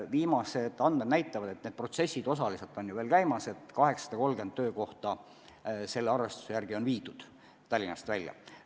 Viimased andmed näitavad – protsessid ju osaliselt veel käivad –, et 830 töökohta on viidud Tallinnast välja.